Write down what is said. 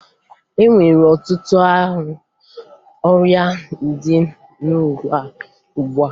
E nwere ọtụtụ ọrịa dị n'ụwa ugbua